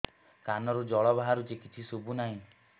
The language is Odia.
କାନରୁ ଜଳ ବାହାରୁଛି କିଛି ଶୁଭୁ ନାହିଁ